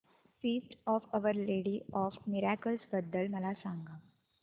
feast of Our Lady of Miracles बद्दल मला सांगा